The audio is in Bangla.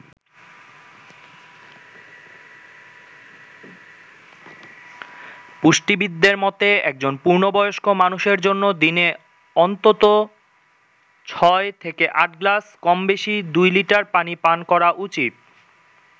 পুষ্টিবিদদের মতে, একজন পূর্ণ বয়স্ক মানুষের জন্য দিনে অন্তত ছয় থেকে আট গ্লাস কমবেশি দুই লিটার পানি পান করা উচিত।